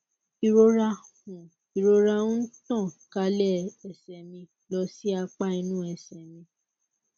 ìrora ń ìrora ń tàn kálẹ ẹsẹ mi lọ sí apá inú ẹsẹ mi